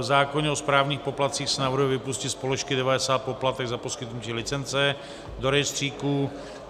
V zákoně o správních poplatcích se navrhuje vypustit z položky 90 poplatek za poskytnutí licence do rejstříku.